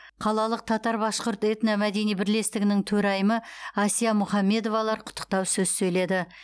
қалалық татар башқұрт этно мәдени бірлестігінің төрайымы асия мухаммедовалар құттықтау сөз сөйледі